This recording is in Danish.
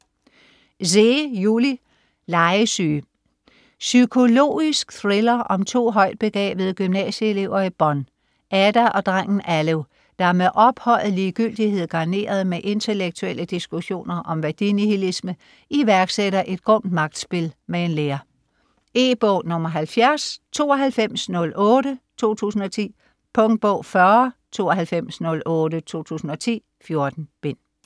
Zeh, Juli: Legesyge Psykologisk thriller om to højtbegavede gymnasieelever i Bonn, Ada og drengen Alev, der med ophøjet ligegyldighed garneret med intellektuelle diskussioner om værdinihilisme iværksætter et grumt magtspil med en lærer. E-bog 709208 2010. Punktbog 409208 2010. 14 bind.